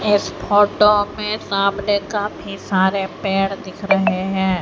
इस फोटो में सामने कफी सारे पेड़ दिख रहे हैं।